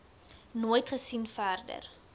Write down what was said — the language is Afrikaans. nooit gesien verder